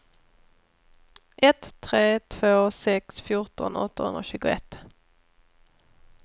ett tre två sex fjorton åttahundratjugoett